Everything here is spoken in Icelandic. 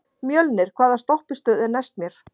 Mjölnir, hvaða stoppistöð er næst mér?